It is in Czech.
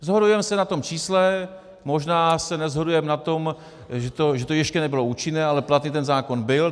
Shodujeme se na tom čísle, možná se neshodujeme na tom, že to ještě nebylo účinné, ale platný ten zákon byl.